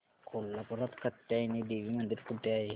कोल्हापूरात कात्यायनी देवी मंदिर कुठे आहे